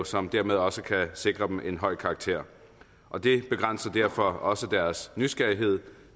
som dermed også kan sikre dem en høj karakter og det begrænser derfor også deres nysgerrighed